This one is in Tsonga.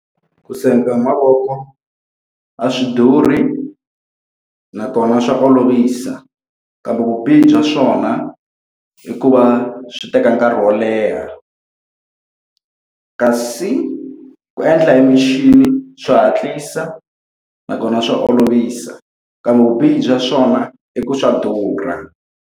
Ku senga hi mavoko a swi durhi nakona swa olovisa, kambe vubihi bya swona i ku va swi teka nkarhi wo leha. Kasi ku endla emakixini swa hatlisa, nakona swa olovisa. Kambe vubihi bya swona i ku swa durha.